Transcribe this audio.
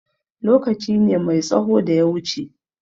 Lokaci ne mai tsaho da ya wuce.